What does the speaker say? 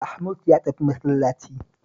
Mahmud ya tafi masallaci